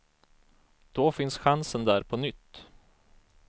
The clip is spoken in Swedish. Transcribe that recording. Då finns chansen där på nytt.